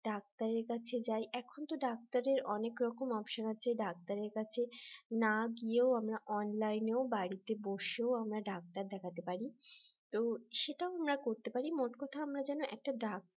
ডাক্তারের কাছে যাই এখন ডাক্তারের অনেক রকম option আছে ডাক্তারের কাছে না গিয়েও আমরা online ও বাড়িতে বসেও আমরা ডাক্তার দেখাতে পারি। তো সেটাও আমরা করতে পারি, মোটকথা আমরা যেন একটা ডাক্তার